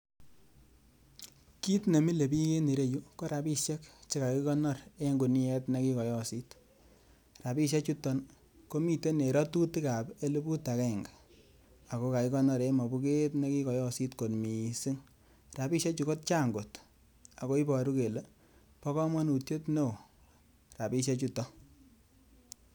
Kiit ne milei bich en ireyu ko rabisiek che kakikonor eng kuniet nekikoyosit. Rabisiechuton komiten en rotutik ap eleput akenge ako kakikonor en mopuket nekikoyosit kot mising. rabisiechu kochang' kot ako iboru kele bo komonutiet neo rabisiechutok.